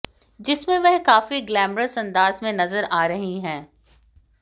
जिसमें वह काफी ग्लैमरस अंदाज में नजर आ रही हैं